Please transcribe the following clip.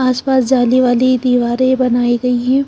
आसपास जाली वाली दीवारें बनाई गई है।